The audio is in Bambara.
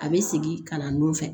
A bɛ sigi ka na nun fɛ